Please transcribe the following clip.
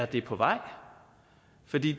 det er på vej for de